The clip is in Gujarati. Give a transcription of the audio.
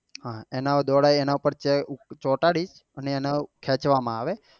હા એના દ્વારા એને ચોટાડી અને એને ખેચવા માં આવે.